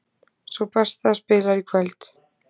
Sú besta spilar í kvöld